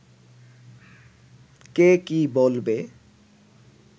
কে কী বলবে